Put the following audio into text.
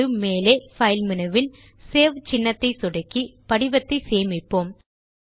இப்போது மேலே பைல் மெனுவில் சேவ் சின்னத்தை சொடுக்கி படிவத்தை சேமிப்போம்